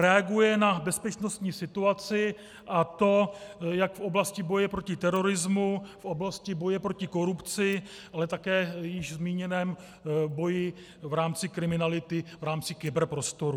Reaguje na bezpečnostní situaci, a to jak v oblasti boje proti terorismu, v oblasti boje proti korupci, ale také v již zmíněném boji v rámci kriminality v rámci kyberprostoru.